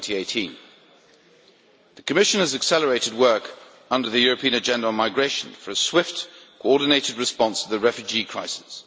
2018. The Commission has accelerated work under the European Agenda on Migration for a swift, coordinated response to the refugee crisis.